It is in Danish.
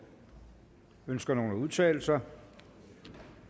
ønsker nogen at udtale sig